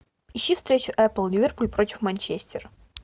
ищи встречу апл ливерпуль против манчестер